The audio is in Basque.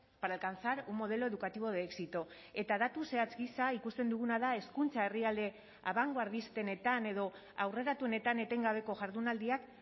para alcanzar un modelo educativo de éxito eta datu zehatz gisa ikusten duguna da hezkuntza herrialde abangoardistenetan edo aurreratuenetan etengabeko jardunaldiak